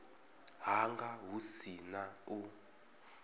hanga hu si na u